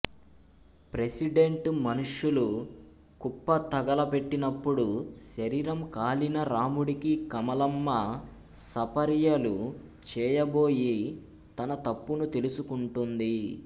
president మనుషులు కుప్ప తగలపెట్టినప్పుడు శరీరం కాలిన రాముడికి కమలమ్మ సపర్యలు చేయబోయి తన తప్పును తెలుసుకుంటుంది